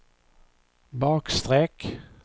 bakstreck